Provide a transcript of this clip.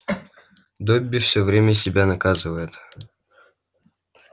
добби всё время себя наказывает